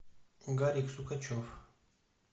гарик сукачев